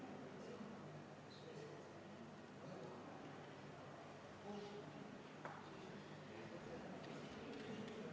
Nüüd sellest teie osutusest, et kütuseaktsiis tõepoolest viia Läti ja Leeduga samale tasemele, eriti diislikütuse aktsiis.